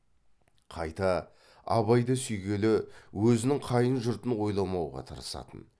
қайта абайды сүйгелі өзінің қайын жұртын ойламауға тырысатын